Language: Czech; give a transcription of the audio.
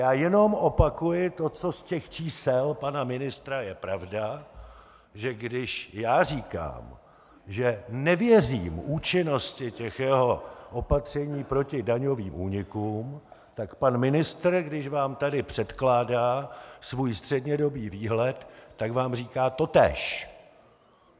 Já jenom opakuji to, co z těch čísel pana ministra je pravda, že když já říkám, že nevěřím účinnosti těch jeho opatření proti daňovým únikům, tak pan ministr, když vám tady předkládá svůj střednědobý výhled, tak vám říká totéž.